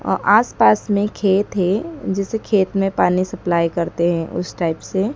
आसपास में खेत है जिसे खेत में पानी सप्लाई करते हैं उस टाइप से--